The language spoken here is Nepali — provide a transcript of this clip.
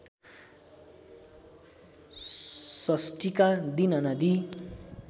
षष्ठीका दिन नदी